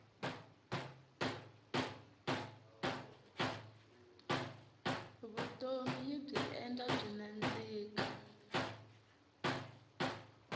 vutomi yibyi endla byi nandzika